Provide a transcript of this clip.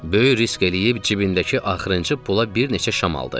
Böyük risk eləyib cibindəki axırıncı pula bir neçə şam aldı.